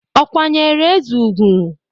Ọ̀ kwanyeere eze ùgwù?